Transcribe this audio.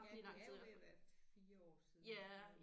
Ja det er jo ved at være 4 år siden